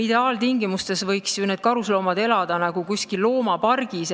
Ideaaltingimustes võiksid ju karusloomad elada seal nii, nagu kuskil loomapargis.